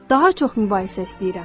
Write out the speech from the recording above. Daha çox mübahisə istəyirəm.